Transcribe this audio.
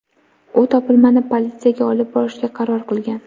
U topilmani politsiyaga olib borishga qaror qilgan.